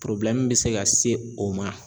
be se ka se o ma.